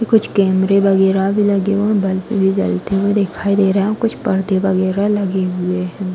कुछ कैमरे वगैरह भी लगे हुए हैं। बल्ब भी जलते हुए दिखाई दे रहे हैं। कुछ परदे वगैरह लगे हुए हैं।